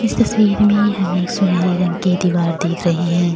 इस तस्वीर में हमे एक सुनहरे रंग कि दिवार देख रहें हैं।